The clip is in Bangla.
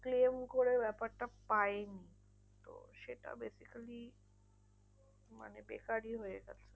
Claim করে ব্যাপারটা পায়নি। তো সেটা basically মানে বেকারই হয়ে গেলো।